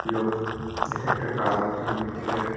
লোক এটা একটা কাজ হচ্ছে ইলেকট্রিক এর--